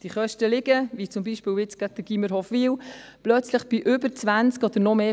Die Kosten liegen, wie zum Beispiel beim Gymnasium Hofwil, plötzlich bei über 20 Prozent oder noch mehr.